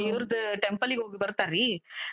ದೇವ್ರದ್ temple ಗ್ ಹೋಗ್ಬರ್ತಾರೀ.